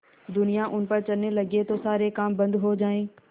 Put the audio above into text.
दुनिया उन पर चलने लगे तो सारे काम बन्द हो जाएँ